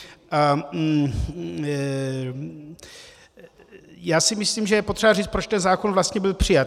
Já si myslím, že je potřeba říct, proč ten zákon vlastně byl přijat.